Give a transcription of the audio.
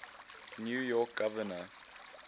new york governor